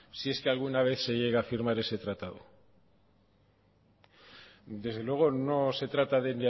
sí es que alguna vez se llega a firmar ese tratado desde luego no se trata de